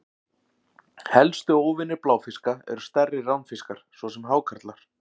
Helstu óvinir bláfiska eru stærri ránfiskar, svo sem hákarlar.